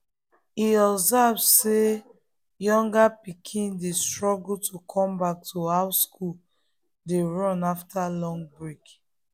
e observe say younger pikin dey struggle to come back to how school dey run after long break.